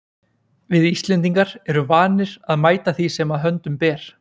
Við Íslendingar erum vanir að mæta því sem að höndum ber.